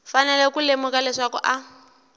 fanele ku lemuka leswaku a